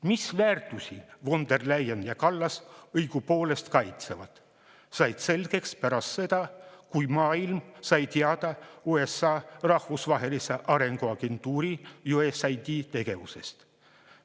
Mis väärtusi von der Leyen ja Kallas õigupoolest kaitsevad, sai selgeks pärast seda, kui maailm sai teada USA rahvusvahelise arengu agentuuri ehk USAID‑i tegevusest.